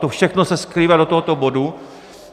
To všechno se skrývá v tomto bodu.